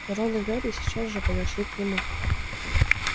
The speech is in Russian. рон и гарри сейчас же подошли к нему